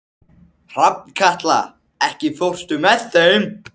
Hrafnkatla, ekki fórstu með þeim?